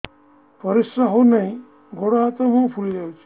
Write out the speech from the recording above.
ପରିସ୍ରା ହଉ ନାହିଁ ଗୋଡ଼ ହାତ ମୁହଁ ଫୁଲି ଯାଉଛି